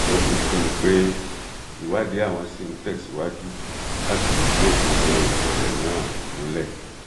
ó fi kún un pé ìwádìí àwọn ṣì ń tẹsíwájú láti fìdí òkodoro ìṣẹlẹ náà múlẹ